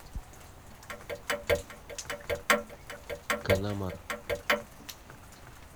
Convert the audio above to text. канамар